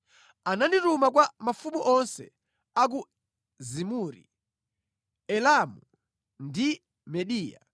Anandituma kwa mafumu onse a ku Zimuri, Elamu ndi Mediya;